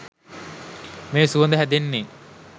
මේ සුවඳ හැදෙන්නේ